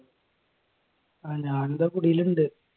അഹ് ഞാൻ ദാ കുടിയിലുണ്ട്